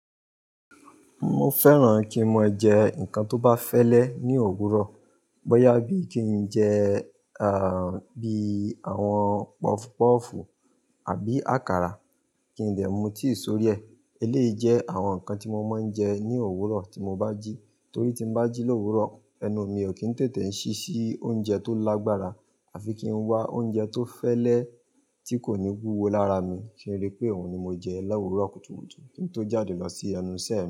Mo fẹ́ràn kí n máa jẹ nǹkan tó bá fẹ́lẹ́ ní òwúrọ̀. Bóyá bí i kí n jẹ, bíi àwọn pọfupọ́fù àbí àkàrà kí n dẹ mú tíi sórí ẹ. Eléyìí jẹ́ àwọn nǹkan tí mo máa ń jẹ ní òwúrọ̀ tí mo bá jí. Torí tí n bá jí lówúrọ̀, ẹnu mi ò kí ń tètè ń ṣí sí oúnjẹ tó lágbára àfi kí ń wá oúnjẹ tó fẹ́lẹ́ tí kò ní wúwo lára mi kí n rí pé òun ni mo jẹ lówúrọ̀ kùtùkùtù kí n tó jáde lọ sí ẹnu isẹ mi.